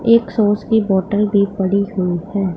एक सॉस की बॉटल भी पड़ी हुई है।